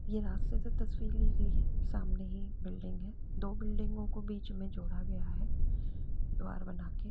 यह रास्ते से तस्वीर ली गई सामने ही बिल्डिंग है दो बिल्डिंगों को बीच मे जोड़ा गया है । द्वार बना के --